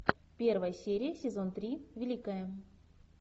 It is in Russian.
первая серия сезон три великая